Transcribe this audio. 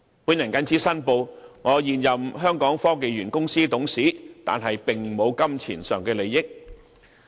我謹此申報我是香港科技園公司的現任董事，但並無金錢上的利益。